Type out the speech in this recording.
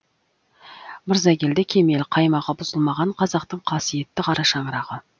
мырзагелді кемел қаймағы бұзылмаған қазақтың қасиетті қарашаңырағы